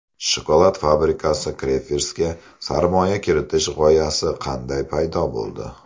Shokolad fabrikasi [Crafers]ga sarmoya kiritish g‘oyasi qanday paydo bo‘ldi?